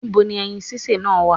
Ní bo ni ẹyin sísè náà wà?